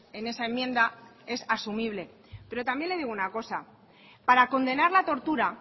en esa enmienda es asumible pero también le digo una cosa para condenar la tortura